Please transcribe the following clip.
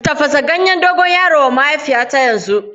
Tafasa ganyen dogon yaro wa mahaifiyata yanzu!